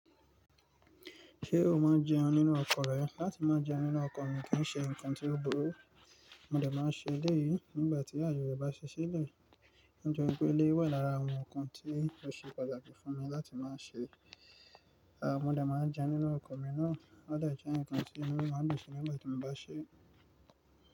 Ṣé o máa jẹun nínú ọkọ̀ rẹ? Láti má jẹun nínú ọkọ̀ mi kì í ṣe nǹkan tí ó burú. Mo de máa ń ṣe elẹ́ yìí nígbà tí àye re bá ṣi sílẹ̀. Ounje igbó ilé wà lára àwọn ǹkan tí ó ṣe pàtàkì fún mi láti máa ṣe. Aà mo dà máa jẹun nínú ọkọ̀ mi náà. Ó deje eeyan kan tí inu mi máa n dun sí nígbà tí mo bá ṣe é.